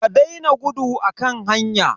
Ka daina gudu a kan hanya.